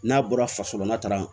N'a bɔra fasolata